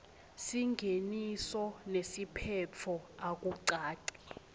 singeniso nesiphetfo akucaci